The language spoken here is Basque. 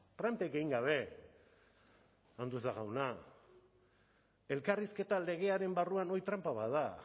plantik egin gabe andueza jauna elkarrizketa legearen barruan hori tranpa bat da